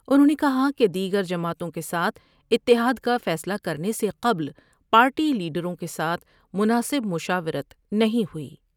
انہوں نے کہا کہ دیگر جماعتوں کے ساتھ اتحاد کا فیصلہ کرنے سے قبل پارٹی لیڈروں کے ساتھ مناسب مشاورت نہیں ہوئی ۔